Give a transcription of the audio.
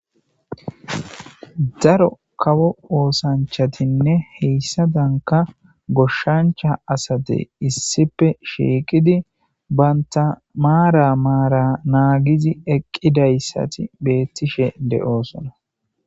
daro kawo oosanchatinne heyssadanka goshshancha asatey issipe shieqidi banta maara maara naagizi eqqidayssati beettishe de'osona